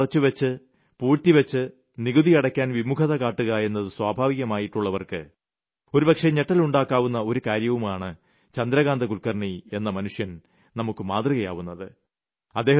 വരുമാനം മറച്ചുവെച്ച് പൂഴ്ത്തിവെച്ച് നികുതി അടയ്ക്കാൻ വിമുഖത കാട്ടുക എന്നത് സ്വഭാവമാക്കിയവർക്ക് ഒരുപക്ഷേ ഞെട്ടലുളവാക്കുന്ന ഒരു കാര്യവുമായാണ് ചന്ദ്രകാന്ത കുൽക്കർണി എന്ന മനുഷ്യൻ നമുക്ക് മാതൃകയാവുന്നത്